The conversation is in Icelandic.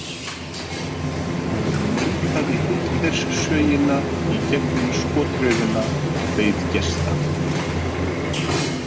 Hún mundaði Hitlerssögina í gegnum skotraufina og beið gesta.